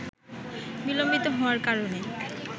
বিলম্বিত হওয়ার কারণে